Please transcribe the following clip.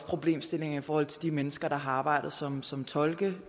problemstillingen i forhold til de mennesker der har arbejdet som som tolke